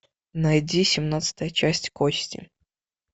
найди семнадцатая часть кости